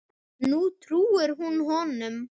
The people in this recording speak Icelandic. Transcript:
Nú trúir hún honum.